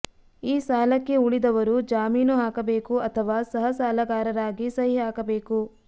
ಈ ಸಾಲಕ್ಕೆ ಉಳಿದವರು ಜಾಮೀನು ಹಾಕಬೇಕು ಅಥವಾ ಸಹಸಾಲಗಾರರಾಗಿ ಸಹಿ ಹಾಕಬೇಕು